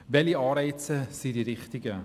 Welche Anreize sind richtig?